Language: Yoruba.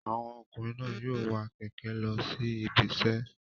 Àwọn ọkùnrin náà yóò wa kẹ̀kẹ́ lọ sí ibiṣẹ́